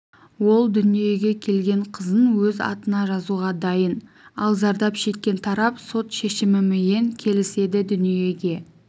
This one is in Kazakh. ол дүниеге келген қызын өз атына жазуға дайын ал зардап шеккен тарап сот шешіміміен келіседі дүниеге